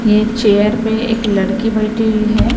यह चेयर पे एक लड़की बैठी हुई है।